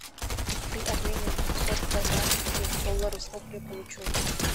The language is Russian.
при обмене двухсот канадских долларов сколько я получу